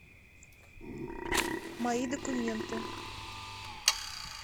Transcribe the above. мои документы